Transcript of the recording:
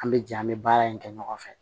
An bɛ jɛ an bɛ baara in kɛ ɲɔgɔn fɛ